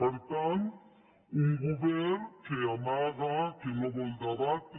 per tant un govern que amaga que no vol debatre